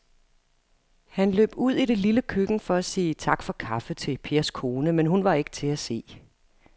Han løb ud i det lille køkken for at sige tak for kaffe til Pers kone, men hun var ikke til at se.